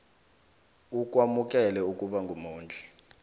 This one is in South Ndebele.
ukwamukela ukuba mumondli